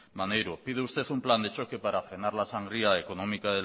maneiro pide usted un plan de choque para frenar la sangría económica